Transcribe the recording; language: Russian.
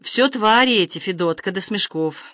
всё твари эти федот когда смешков